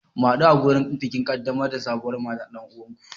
Mu hadu a wurin bikin kaddamar da sabuwar matar dan uwanku.